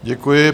Děkuji.